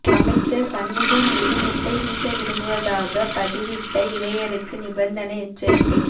அமைச்சர் சண்முகம் மீது முட்டை வீச விரும்புவதாகப் பதிவிட்ட இளையருக்கு நிபந்தனை எச்சரிக்கை